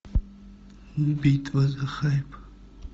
битва за хайп